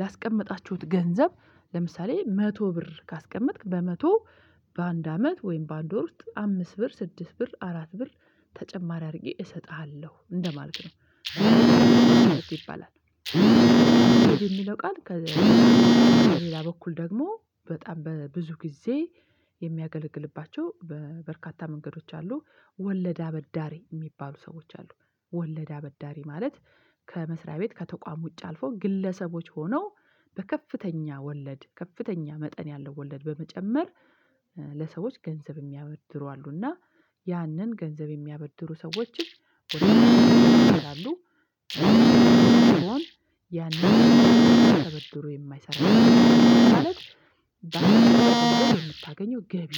ላስቀመጣችሁት ገንዘብ ለምሳሌ መቶ ብር ካስቀመጥክ በመቶ በአንድ አመት ወይም በአንድ ወር ውስጥ አምስት ብር ስድስት ብር አራት ብር ተጨማሪ አድርጌ እሰጥሃለሁ እንደማለት ነው ይባላል። የሚለው ቃል በሌላ በኩል ደግሞ በጣም በብዙ ጊዜ የሚያገለግልባቸው በበርካታ መንገዶች አሉ ወለድ አበዳሪ የሚባሉ ሰዎች አሉ። ወለድ አበዳሪ ማለት ከመስሪያ ቤት ከተቋም ውጭ አልፎ ግለሰቦች ሆነው በከፍተኛ ወለድ ከፍተኛ መጠን ያለው ወለድ በመጨመር ለሰዎች ገንዘብ የሚያበድሩ አሉና ያንን ገንዘብ የሚያበድሩ ሰዎችን ወደ አዲስ አበዱ ያንን ተበድሮ የማይሰራ ማለት በአንድ የምታገኘው ገቢ